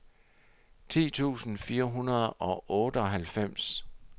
ti tusind fire hundrede og otteoghalvfems